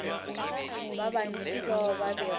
ba bantši bao ba bego